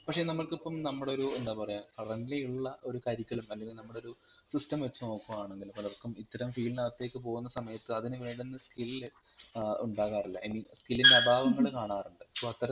പക്ഷെ നമ്മൾകിപ്പം നമ്മൾ ഒരു എന്താ പറയാ currently ഉള്ള ഒരു curriculum അല്ലെങ്കിൽ നമ്മളൊരു system വെച്ച് നോക്കുകയാണെങ്കിൽ പലർക്കും ഇത്തരം field നകത്തെക്ക് പോകുന്ന സമയത് അതിനുവേണ്ടുന്ന skill ഏർ ഉണ്ടാവാറില്ല i meanskill ൻറെ അഭാവങ്ങൽ കാണാറിണ്ട് so